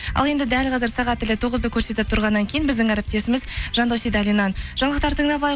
ал енді дәл қазір сағат тілі тоғызды көрсетіп тұрғаннан кейін біздің әріптесіміз жандос сейдалиннен жаңалықтар тыңдап алайық